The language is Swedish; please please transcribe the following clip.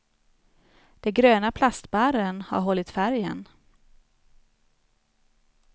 De gröna plastbarren har hållit färgen.